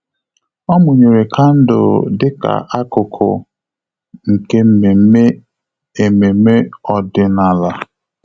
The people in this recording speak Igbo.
Ọ́ mụ́nyèrè kandụl dịka ákụ́kụ́ nke mmemme ememe ọ́dị́nála.